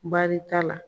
Baarita la